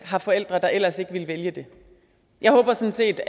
har forældre der ellers ikke ville vælge det jeg håber sådan set